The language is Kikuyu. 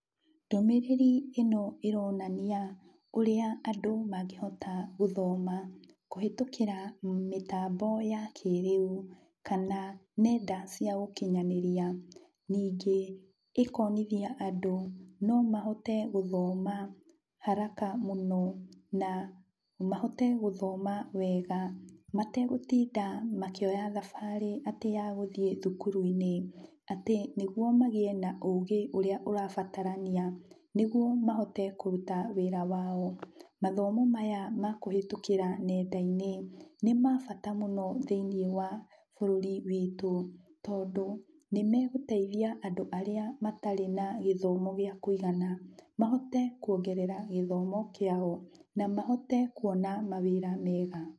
Ndũmĩrĩri ĩno ĩronania ũrĩa andũ mangĩhota gũthoma kũhĩtũkĩra mĩtambo ya kĩrĩu kana nenda cia ũkinyanĩria. Ningĩ, ĩkonithia andũ no mahote gũthoma haraka mũno, na mahote gũthoma wega, mategũtinda makioya thabarĩ atĩ ya gũthiĩ thukuru-inĩ, atĩ nĩguo magĩe na ũgĩ ũrĩa ũrabatarania nĩguo mahote kũruta wĩra mao. Mathomo maya ma kũhĩtũkĩra nenda-inĩ nĩ ma bata mũno thĩiniĩ wa bũrũri witũ, tondũ nĩmegũteithia andũ arĩa matarĩ na gĩthomo gĩa kũigana, mahote kuongerera gĩthomo kĩao, na mahote kuona mawĩra mega.